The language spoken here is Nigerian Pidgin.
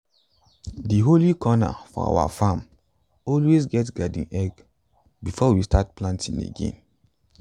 di holy corner for our farm always get garden egg before we start planting again.